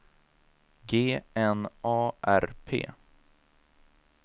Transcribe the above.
G N A R P